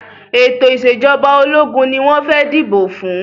Ètò ìṣẹ̀jọba ológun ni wọ́n fẹ́ dìbò fún.